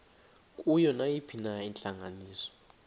kuyo nayiphina intlanganiso